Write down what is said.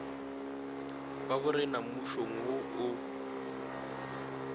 ba borena mmušong wo o